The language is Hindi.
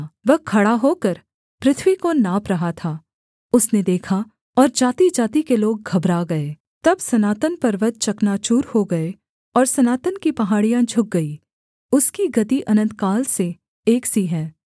वह खड़ा होकर पृथ्वी को नाप रहा था उसने देखा और जातिजाति के लोग घबरा गए तब सनातन पर्वत चकनाचूर हो गए और सनातन की पहाड़ियाँ झुक गईं उसकी गति अनन्तकाल से एक सी है